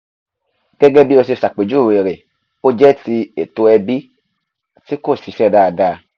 gẹ́gẹ́ bí o ṣe ṣàpèjúwe rẹ̀ o jẹ́ ti ètò ẹbí tí kò ṣiṣẹ́ dáadáa